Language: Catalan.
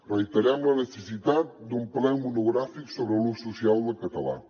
reiterem la necessitat d’un ple monogràfic sobre l’ús social del català